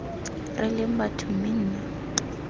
re leng batho mme nna